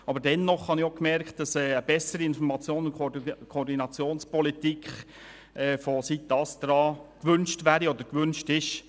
Aber dennoch habe ich festgestellt, dass eine bessere Informations- und Koordinationspolitik seitens des ASTRA gewünscht ist.